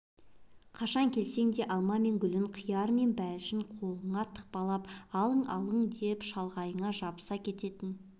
қашан келсең де алма мен гүлін қияры мен бәлішін қолыңа тықпалап алың-алың деп шалғайыңа жабыса кететін